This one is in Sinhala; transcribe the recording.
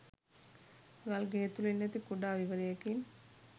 ගල් ගෙය තුලින් ඇති කුඩා විවරයකින්